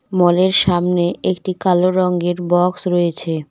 মল এর সামনে একটি কালো রঙ্গের বক্স রয়েছে।